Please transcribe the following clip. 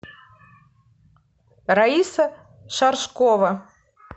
раиса шаршкова